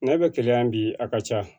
N'a bɛ keleya bi a ka ca